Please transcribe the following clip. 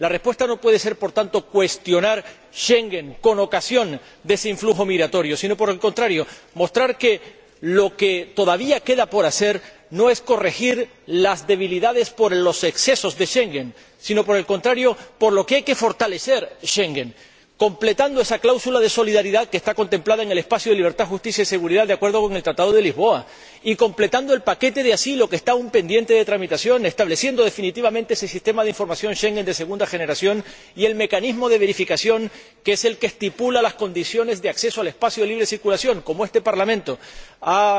La respuesta no puede ser, por tanto, cuestionar Schengen con ocasión de ese flujo migratorio, sino, por el contrario, mostrar que lo que todavía queda por hacer no es corregir las debilidades por los excesos de Schengen, sino fortalecer Schengen, completando esa cláusula de solidaridad, que está contemplada en el espacio de libertad, seguridad y justicia, de acuerdo con el Tratado de Lisboa, y completando el paquete de asilo que está aún pendiente de tramitación, estableciendo definitivamente ese Sistema de Información Schengen de segunda generación y el mecanismo de verificación, que es el que estipula las condiciones de acceso al espacio de libre circulación, como este Parlamento ha